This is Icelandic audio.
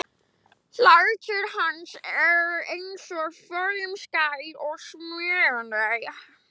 Hlátur hans er enn sem forðum skær og smitandi.